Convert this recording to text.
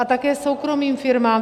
A také soukromým firmám.